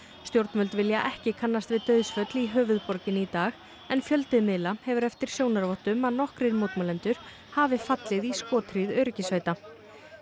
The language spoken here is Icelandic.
stjórnvöld vilja ekki kannast við dauðsföll í höfuðborginni í dag en fjöldi miðla hefur eftir sjónarvottum að nokkrir mótmælendur hafi fallið í skothríð öryggissveita